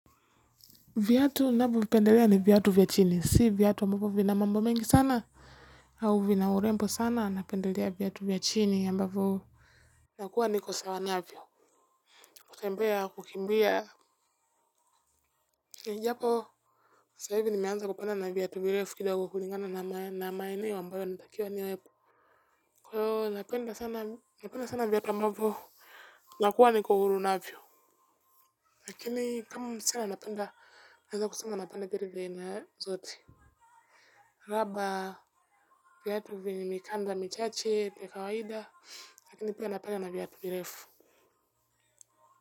Viatu ninavyo vipendelea ni viatu vya chini, si viatu ambavyo vina mambo mengi sana, au vina urembo sana, napendelea viatu vya chini ambapo. Nakua niko sawa navyo, kutembea, kukimbia, japo. Sasa hivi nimeanza kupenda na viatu virefu kidogo kulingana na maeneo ambayo natakiwa niwe. Kwa hiyo napenda sana viatu ambavyo. Nakua niko huru navyo. Lakini kama sana napenda, naweza kusema napenda viatu vya aina zote. Raba viatu vyenye mikamba michache vya kawaida lakini pia napenda na viatu virefu.